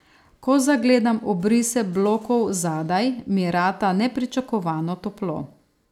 Ko zagledam obrise blokov zadaj, mi rata nepričakovano toplo.